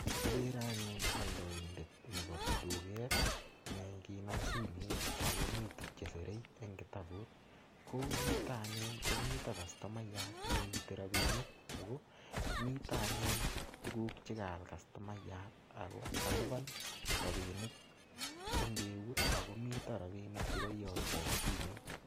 Kikere anayun oldointet nebo tuket nee kanam simoit ak komii tukuk chesire en kitabut, ko yuto anyun komite kastumayat neite rabinik ak ko mite anyun tukuk chekaal customayat ak ko kaliban rabinik eng eut ak komii rabinik chekoyokto en simoit.